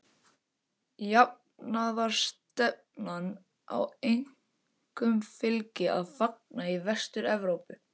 Jafnaðarstefnan á einkum fylgi að fagna í Vestur-Evrópu.